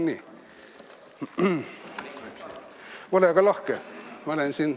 Nii, ole aga lahke!